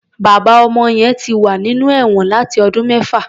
Bàbá ọmọ yẹn ti wà nínú ẹ̀wọn láti ọdún mẹ́fà.